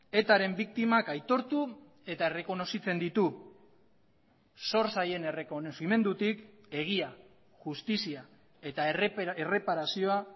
etaren biktimak aitortu eta errekonozitzen ditu zor zaien errekonozimendutik egia justizia eta erreparazioa